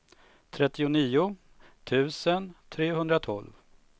trettionio tusen trehundratolv